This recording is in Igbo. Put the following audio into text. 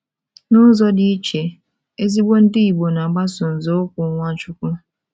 N’ụzọ dị iche, ezigbo Ndị Igbo na - agbaso nzọụkwụ Nwachukwu.